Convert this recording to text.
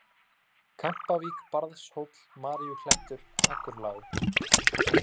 Kampavík, Barðshóll, Maríuklettur, Akurlág